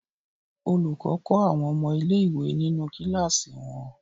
Olùkọ́ kọ́ àwọn ọmọ ilé-ìwé nínú kíláàsì wọn.